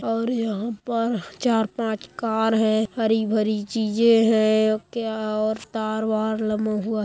और यहा पर चार पांच कार है हरी भरी चीजे है। क्या और तार वार लमो ।